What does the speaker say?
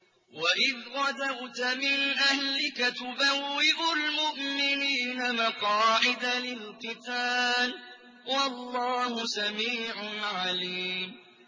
وَإِذْ غَدَوْتَ مِنْ أَهْلِكَ تُبَوِّئُ الْمُؤْمِنِينَ مَقَاعِدَ لِلْقِتَالِ ۗ وَاللَّهُ سَمِيعٌ عَلِيمٌ